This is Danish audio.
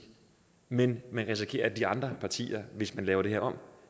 men men risikerer at de andre partier hvis man laver det her